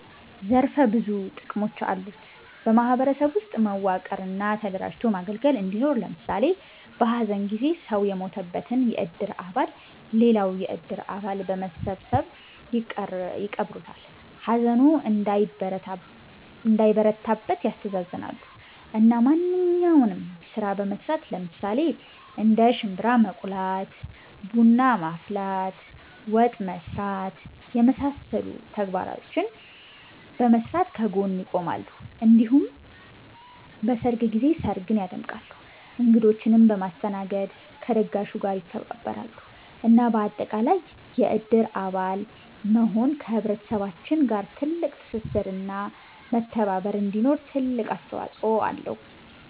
ዘርፈ ብዙ ጥቅሞች አሉት በ ማህበረሰብ ውስጥ መዋቀር እና ተደራጅቶ ማገልገል እንዲኖር ለምሳሌ በ ሀዘን ጊዜ ሰው የሞተበትን የእድር አባል ሌላው የእድር አባል በመሰባሰብ ይቀብሩለታል፣ ሀዘኑ እንዳይበረታበት ያስተሳዝናሉ፣ እና ማንኛውንም ስራ በመስራት ለምሳሌ እንደ ሽንብራ መቁላት፣ ቡና ማፍላት፣ ወጥ መስራት የመሳሰሉ ተግባራቶችን በመስራት ከ ጎኑ ይቆማሉ እንዲሁም በሰርግ ጊዜ ስርግን ያደምቃሉ እንግዶቺንም በማስተናገድ ከ ደጋሹ ጋር ይተባበራሉ እና በአጠቃላይ የእድር አባል መሆን ከ ህብረተሰባችን ጋር ትልቅ ትስስር እና መተባባር እንዲኖር ትልቅ አስተዋፅኦ አለው